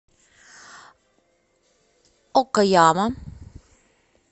окаяма